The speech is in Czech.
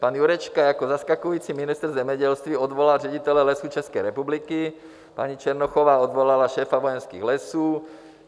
Pan Jurečka jako zaskakující ministr zemědělství odvolal ředitele Lesů České republiky, paní Černochová odvolala šéfa Vojenských lesů.